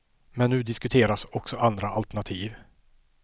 Men nu diskuteras också andra alternativ.